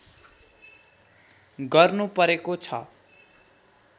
गर्नुपरेको छ